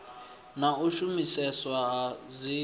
na u shumiseswa ha dzin